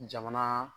Jamana